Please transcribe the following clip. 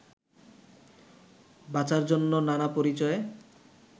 বাঁচার জন্য নানা পরিচয়ে